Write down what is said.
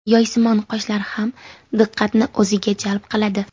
Yoysimon qoshlar ham diqqatni o‘ziga jalb qiladi.